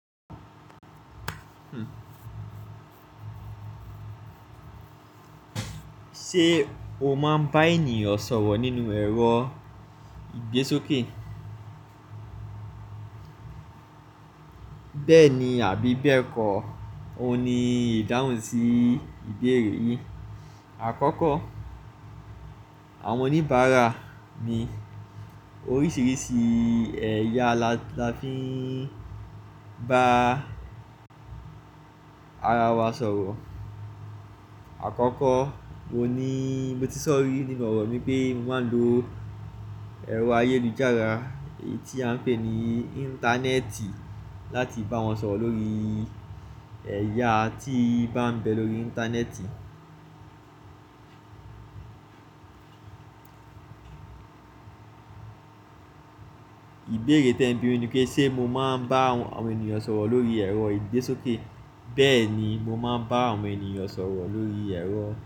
Ṣé o máa ń bá ènìyàn sọ̀rọ̀ nínú ẹ̀rọ ìgbésókè? Bẹ́ẹ̀ni àbí bẹ́ẹ̀ kọ́, òun ni ìdáhùn sí ìbéèrè yìn. Àkọ́kọ́, àwọn oníbàárà ni oríṣiríṣi ẹ̀yà là tí --la fi ń bá ara wa sọ̀rọ̀. Àkọ́kọ́, mo ní mo ti sọ̀rọ̀ nínú ọ̀rọ̀ mi pé mo máa ń lo ẹ̀rọ ayélujára eyi tí a ń pè ní Íńtánẹ́ẹ̀tì láti bá wọn sọ̀rọ̀ lórí ẹ̀yà tí bá ń bẹ lórí Íńtánẹ́ẹ̀tì. Ìbéèrè tẹ̀ ń bi mí ni pé, ṣe mo máa ń bá àwọn ènìyàn sọ̀rọ̀ lórí ẹ̀rọ ìgbésókè? Bẹ́ẹ̀ni, mo máa ń bá àwọn ènìyàn sọ̀rọ̀ lórí ẹ̀rọ.